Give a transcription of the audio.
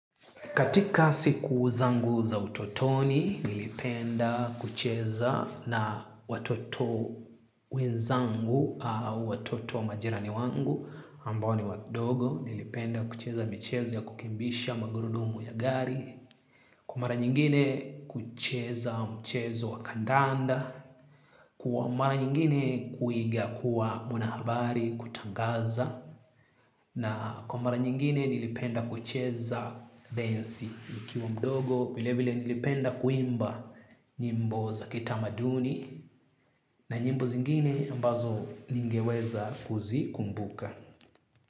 Katika siku zangu za utotoni nilipenda kucheza na watoto wenzangu au watoto majirani wangu ambao ni wadogo, nilipenda kucheza michezo ya kukimbisha magurudumu ya gari. Kwa mara nyingine kucheza mchezo wa kandanda. Kwa mara nyingine kuiga kuwa mwanahabari, kutangaza na kwa mara nyingine nilipenda kucheza densi, nikiwa mdogo, vile vile nilipenda kuimba nyimbo za kitamaduni. Na nyimbo zingine ambazo ningeweza kuzikumbuka.